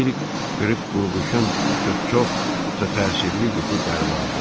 Bir qırıq qurğuşun ç-ç-çox təsirli yuxu dərmanıdır.